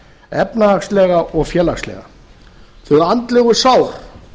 efnahagslega og félagslega þau andlegu sár